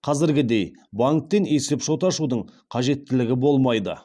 қазіргідей банктен есепшот ашудың қажеттілігі болмайды